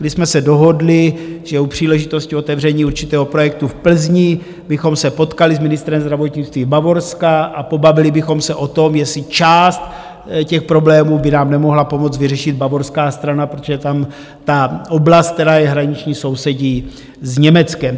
My jsme se dohodli, že u příležitosti otevření určitého projektu v Plzni bychom se potkali s ministrem zdravotnictví Bavorska a pobavili bychom se o tom, jestli část těch problémů by nám nemohla pomoci vyřešit bavorská strana, protože tam ta oblast, která je hraniční, sousedí s Německem.